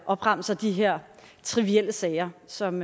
opremser de her trivielle sager som